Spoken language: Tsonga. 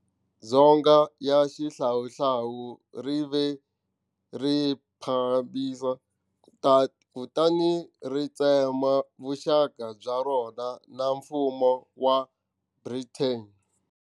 Dzonga ya xihlawuhlawu ri ve rhiphabiliki, kutani ri tsema vuxaka bya rona na mfumo wa Britain.